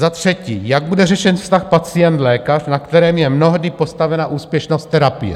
Za třetí, jak bude řešen vztah pacient-lékař, na kterém je mnohdy postavena úspěšnost terapie?